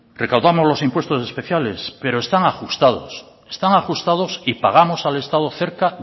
recaudamos los impuestos especiales pero están ajustados están ajustados y pagamos al estado cerca